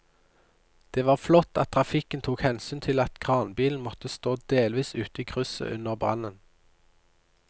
Det var flott at trafikken tok hensyn til at kranbilen måtte stå delvis ute i krysset under brannen.